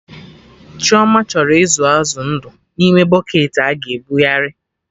Chioma chọrọ ịzụ azụ ndụ na ime bụcketị a ga-ebughari